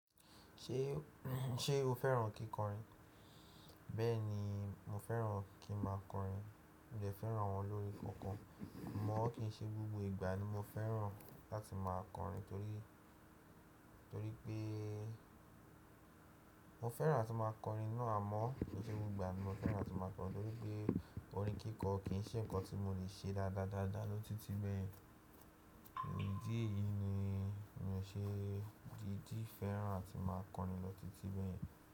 Ṣé, ṣe o fẹ́ràn kíkọrin? Bẹ́ẹ̀ni, mo fẹ́ràn kí n máa kọrin. Mo de fẹ́ràn àwọn olórin kankan. Mọ́ kí í ṣe gbogbo ìgbà ni mo fẹ́ràn láti máa kọrin, torí, torí pé mo fẹ́ràn láti máa kọrin náà amọ́. Kii ṣe gbogbo ìgbà ni mo fẹ́ràn láti máa kọrin torí pé orin kíkọ kì í ṣe nǹkan tí mo lè ṣe dáadáa dáadáa ló títí bẹ́yen. Idi eyí díè ni mi ò ṣe díidí fẹ́ràn áti máa kọrin lọ́ títí bẹ́yen.